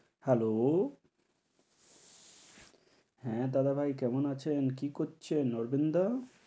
Hello? হ্যাঁ দাদা ভাই, কেমন আছেন কী করছেন অরবিন্দ দা?